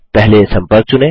पहले सम्पर्क चुनें